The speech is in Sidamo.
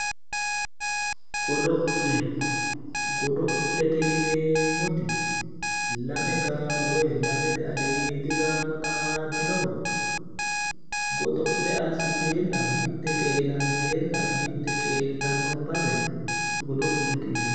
godo'le godo'lete yineemmoti lame gaamo woyi lamete aliidi gaamo xaaddinowa godo'le assiteenna mitte qeelanteenna mitte qoeeltanno base godo'lete yinanni.